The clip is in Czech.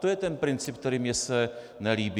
To je ten princip, který mně se nelíbí.